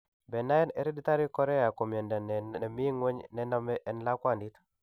Benign hereditary chorea ko miondo ne mi ng'weny ne name en lakwandit